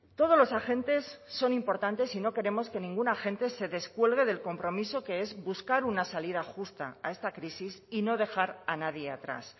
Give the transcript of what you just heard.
todos los agentes son importantes y no queremos que ningún agente se descuelgue del compromiso que es buscar una salida justa a esta crisis y no dejar a nadie atrás